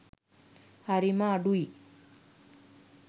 හරිම අඩුයි.